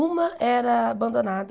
Uma era abandonada.